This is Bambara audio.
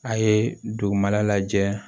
A' ye dugumala lajɛ